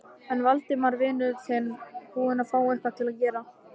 Er Valdimar vinur þinn búinn að fá eitthvað að gera?